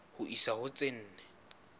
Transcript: ho isa ho tse nne